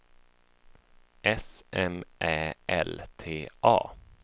S M Ä L T A